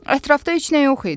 Ətrafda heç nə yox idi.